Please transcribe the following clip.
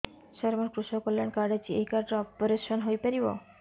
ସାର ମୋର କୃଷକ କଲ୍ୟାଣ କାର୍ଡ ଅଛି ଏହି କାର୍ଡ ରେ ଅପେରସନ ହେଇପାରିବ